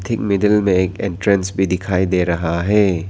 इक मिडिल में एक एंट्रेंस भी दिखाई दे रहा है।